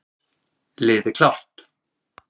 Liði klárt!